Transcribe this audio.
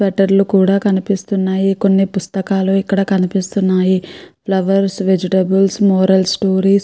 letter లు కూడా కనిపిస్తున్నాయి కొన్ని పుస్తకాలు ఇక్కడ కనిప్పిస్తున్నాయి ఫ్లవర్స్ వెజిటబుల్స్ మోరల్ స్టోరీస్ --